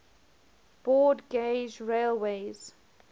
broad gauge railways